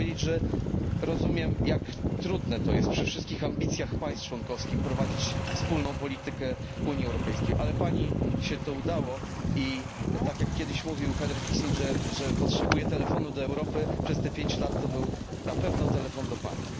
Chciałem powiedzieć, że rozumiem, jak trudne jest to przy wszystkich ambicjach państw członkowskich, prowadzić wspólną politykę Unii Europejskiej, ale Pani się to udało i, tak jak kiedyś mówił Henry Kissinger, że potrzebuje telefonu do Europy, przez te pięć lat to był na pewno telefon do Pani.